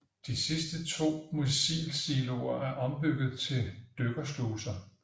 De sidste to missilsiloer er ombygget til dykkersluser